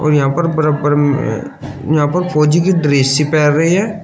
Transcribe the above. यहां पर बराबर यहां पर फौजी की ड्रेस सी पैर रहे है।